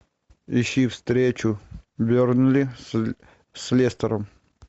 ищи встречу бернли с лестером